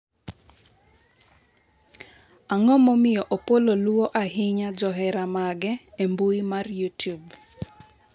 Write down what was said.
ang'o momiyo Opollo luwo ahinya johera mage e mbui mar youtube